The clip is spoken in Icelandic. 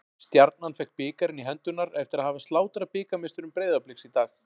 Stjarnan fékk bikarinn í hendurnar eftir að hafa slátrað bikarmeisturum Breiðabliks í dag.